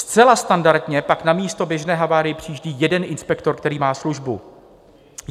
Zcela standardně pak na místo běžné havárie přijíždí jeden inspektor, který má službu.